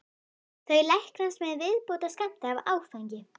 Þau læknast með viðbótarskammti af áfengi.